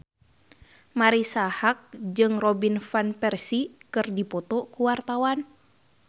Marisa Haque jeung Robin Van Persie keur dipoto ku wartawan